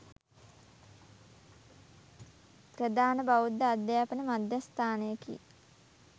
ප්‍රධාන බෞද්ධ අධ්‍යාපන මධ්‍යස්ථානයකි.